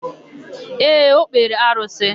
Ee, o kpere arụsị.